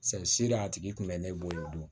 si de a tigi kun bɛ ne bolo